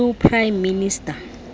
new prime minister